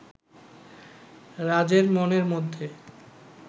রাজের মনের মধ্যে